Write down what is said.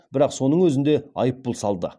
бірақ соның өзінде айыппұл салды